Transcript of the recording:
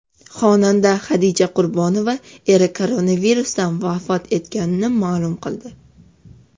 Xonanda Hadicha Qurbonova eri koronavirusdan vafot etganini ma’lum qildi .